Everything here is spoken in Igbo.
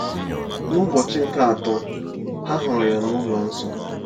N’ụbọchị nke atọ, ha hụrụ ya n’ụlọ nsọ.